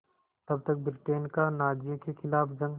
तब तक ब्रिटेन का नाज़ियों के ख़िलाफ़ जंग